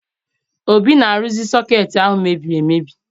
Obi na-arụzi sọkeetị ahụ mebiri emebi